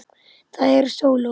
Það eru sóló.